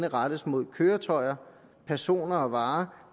rettes mod køretøjer personer og varer